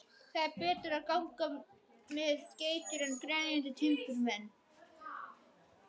Það er betra að ganga með geitur en grenjandi timburmenn.